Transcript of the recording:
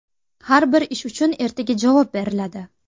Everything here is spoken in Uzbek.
Har bir ish uchun ertaga javob beriladi.